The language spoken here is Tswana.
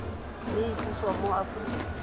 mme e tliswa mo aforika